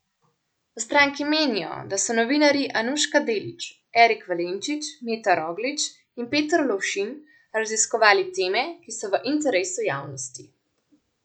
V stranki menijo, da so novinarji Anuška Delić, Erik Valenčič, Meta Roglič in Peter Lovšin raziskovali teme, ki so v interesu javnosti.